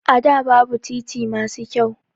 A da babu titi masu kyau